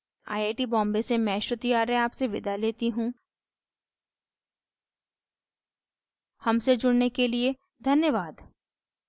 I I T Bombay से मैं श्रुति आर्य आपसे विदा लेती हूँ हमसे जुड़ने के लिए धन्यवाद